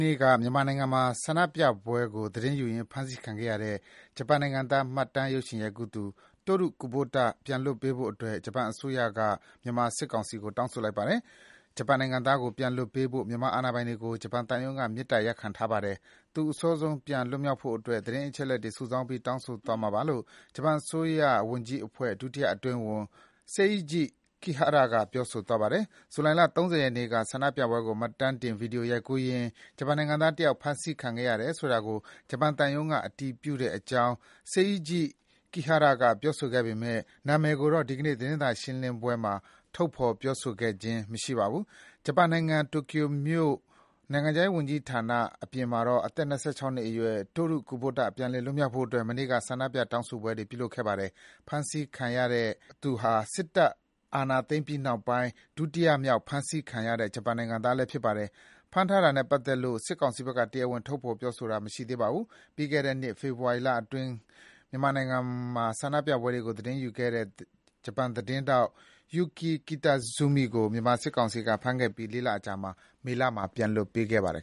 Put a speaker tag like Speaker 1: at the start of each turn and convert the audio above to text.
Speaker 1: နေ့က မြန်မာနိုင်ငံမှာ ဆန္ဒပြပွဲကိုသတင်းယူရင်းဖမ်ဆီးခံရတဲ့ ဂျပန်နိုင်ငံသား မှတ်တမ်းရုပ်ရှင်ရိုက်ကူးသူ Toru Kubota ပြန်လွှတ်ပေးဖို့အတွက် ဂျပန်အစိုးရက မြန်မာကောင်စီကို တောင်းဆိုလိုက်ပါတယ်။ ဂျပန်နိုင်ငံသားကို ပြန်လွှတ်ပေးဖို့ မြန်မာအာဏာပိုင်တွေကို ဂျပန်သံရုံးက မေတ္တာရပ်ခံထားပါတယ်။ သူ အစောဆုံးလွတ်မြောက်ဖို့အတွက် သတင်းအချက်တွေ စုဆောင်းပြီး တောင်းဆိုသွားမှာပါလို့ ဂျပန်အစိုးရဝန်ကြီးအဖွဲ့ ဒုတိယအတွင်းဝန် Seiji Kihara က ပြောဆိုသွားတာပါ။ ဂျုလိုင်လ ၃၀ ရက်နေ့က ဆန္ဒပြပွဲကို မှတ်တမ်းတင်ဗွီဒီယိုရိုက်ရင်း ဂျပန်နိုင်ငံသားတယောက် ဖမ်းဆီးခံခဲ့ရတယ်ဆိုတာကို ဂျပန်သံရုံးက အတည်ပြုတဲ့အကြောင်း Seiji Kihara က ပြောဆိုပေမယ့် နာမည်ကိုတော့ ဒီနေ့ သတင်းစာရှင်းလင်းပွဲမှာ ထုတ်ဖေါ်ပြောဆိုခြင်း မရှိပါဘူး။ ဂျပန်နိုင်ငံ တိုကျိုမြို့၊ ဂျပန် နိုင်ငံခြားရေးဝန်ကြီးဌာနအပြင်မှာတော့ အသက် ၂၆ နှစ်အရွယ် Toru Kubota ပြန်လည်လွတ်မြောက်ရေးအတွက် မနေ့က ဆန္ဒပြ တောင်းဆိုပွဲတွေ ကျင်းပခဲ့ကြပါတယ်။ ဖမ်းဆီးခံရတဲ့ Toru Kubota ဟာ စစ်တပ်အာဏာသိမ်းပြီနောက်ပိုင်း ဒုတိယမြောက် ဖမ်းဆီးခံရတဲ့ ဂျပန်နိုင်ငံသားဖြစ်ပါတယ်။ ဖမ်းဆီးတာနဲ့ပတ်သက်လို့ စစ်ကောင်စီဘက်က တရားဝင် ထုတ်ဖေါ်ပြောဆိုတာမရှိသေးပါဘူး။ ပြီးခဲ့တဲ့နှစ် ဖေဖော်ဝါရီလအတွင်းကလည်း မြန်မာနိုင်ငံအတွင်းက ဆန္ဒပြပွဲတွေကို သတင်းယူခဲ့တဲ့ ဂျပန်သတင်းထောက် Yuki Kitazumi ကို မြန်မာစစ်ကောင်စီက ဖမ်းဆီးခဲ့ပြီး ၄ လအကြာ မေလမှာ ပြန်လွှတ်ပေးခဲ့ပါတယ်